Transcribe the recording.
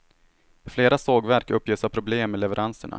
Flera sågverk uppges ha problem med leveranserna.